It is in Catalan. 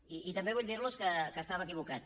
i també vull dir los que estava equivocat